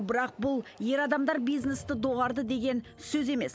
бірақ бұл ер адамдар бизнесті доғарды деген сөз емес